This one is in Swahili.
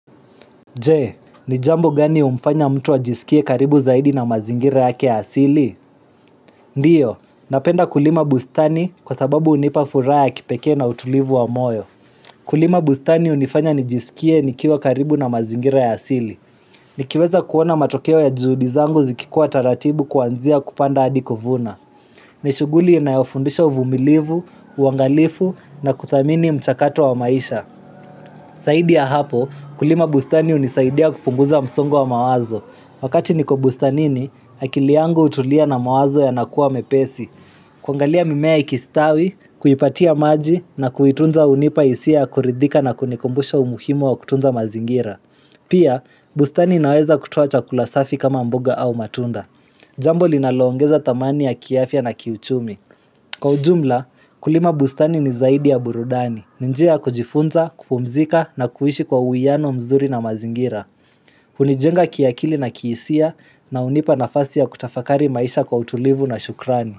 Je, ni jambo gani humfanya mtu ajisikie karibu zaidi na mazingira yake ya asili? Ndio, napenda kulima bustani kwa sababu hunipa furaha ya kipekee na utulivu wa moyo. Kulima bustani hunifanya nijisikie nikiwa karibu na mazingira ya asili. Nikiweza kuona matokeo ya juhudi zangu zikikuwa taratibu kuanzia kupanda hadi kuvuna. Ni shughuli inayofundisha uvumilivu, uangalifu na kuthamini mchakato wa maisha. Zaidi ya hapo, kulima bustani hunisaidia kupunguza msongo wa mawazo. Wakati niko bustanini, akili yangu hutulia na mawazo yanakuwa mepesi. Kuangalia mimea ikistawi, kuipatia maji na kuitunza hunipa hisia ya kuridhika na kunikumbusha umuhimu wa kutunza mazingira. Pia, bustani inaweza kutoa chakula safi kama mboga au matunda. Jambo linaloongeza dhamani ya kiafya na kiuchumi. Kwa ujumla, kulima bustani ni zaidi ya burudani. Ni njia ya kujifunza, kupumzika na kuishi kwa uwiano mzuri na mazingira. Hunijenga kiakili na kihisia na hunipa nafasi ya kutafakari maisha kwa utulivu na shukrani.